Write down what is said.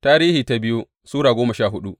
biyu Tarihi Sura goma sha hudu